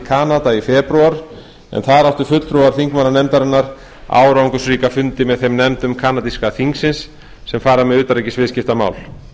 kanada í febrúar en þar áttu fulltrúar þingmannanefndarinnar árangursríka fundi með þeim nefndum kanadíska þingsins sem fara með utanríkisviðskiptamál